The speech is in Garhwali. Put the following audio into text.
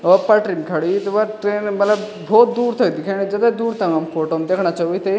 वो पटरी म खड़ीं हुईं त वख ट्रेन मलब बहौत दूर तक दिखेणी जथा दूर ता हम फोटो म दिखणा छां विन्थे।